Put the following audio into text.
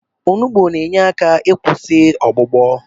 Onugbo na-enye aka ikwụsị ọgbụgbọ.